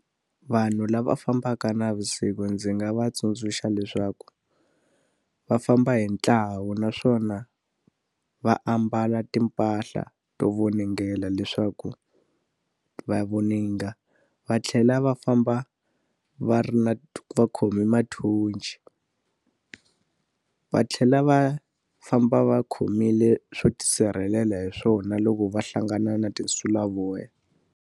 Vanhu lava fambaka navusiku ndzi nga va tsundzuxa leswaku, va famba hi ntlawa naswona va ambala timpahla to voningela leswaku va voninga. Va tlhela va famba va ri na va khome mathochi, va tlhela va famba va khomile swo tisirhelela hi swona loko va hlangana na tinsulavoya.